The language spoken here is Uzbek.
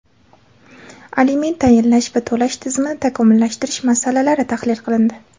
aliment tayinlash va to‘lash tizimini takomillashtirish masalalari tahlil qilindi.